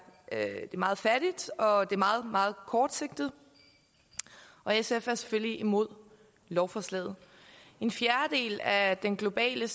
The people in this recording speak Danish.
meget fattigt og er meget meget kortsigtet og sf er selvfølgelig imod lovforslaget en fjerdedel af den globale